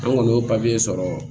An kɔni y'o papiye sɔrɔ